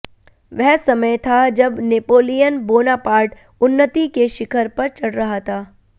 वह समय था जब नेपोलियन बोनापार्टं उन्नत्ति के शिखर पर चढ़ रहा था